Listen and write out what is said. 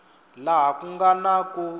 laha ku nga na ku